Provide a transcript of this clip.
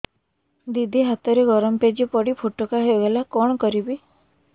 ଦିଦି ହାତରେ ଗରମ ପେଜ ପଡି ଫୋଟକା ହୋଇଗଲା କଣ କରିବି